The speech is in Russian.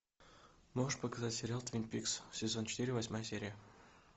можешь показать сериал твин пикс сезон четыре восьмая серия